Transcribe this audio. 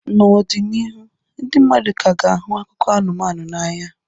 N'ọdịnihu, ndị mmadụ ka ga-ahụ akụkọ anụmanụ n'anya.